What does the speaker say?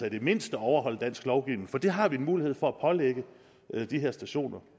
i det mindste overholder dansk lovgivning for det har vi mulighed for at pålægge de her personer